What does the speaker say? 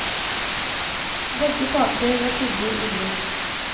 Begge parter var skyldig i brudd.